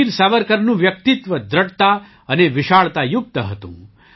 વીર સાવરકરનું વ્યક્તિત્વ દૃઢતા અને વિશાળતાયુક્ત હતું